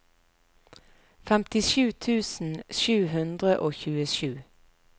femtisju tusen sju hundre og tjuesju